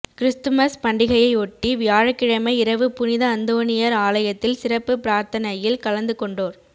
Christmas பண்டிகையையொட்டி வியாழக்கிழமை இரவு புனித அந்தோனியர் ஆலயத்தில் சிறப்பு பிரார்த்தனையில் கலந்து கொண்டோர்